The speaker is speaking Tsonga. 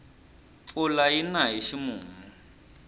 mpfula yina hi ximumu